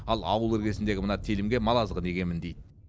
ал ауыл іргесіндегі мына телімге мал азығын егемін дейді